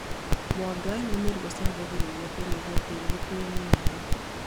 Mwanga nĩ mũri ucangagĩra kunyihia tĩĩri gukuo nĩ maĩ